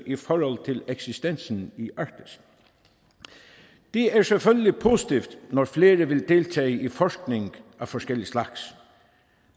i forhold til eksistensen i arktis det er selvfølgelig positivt når flere vil deltage i forskning af forskellig slags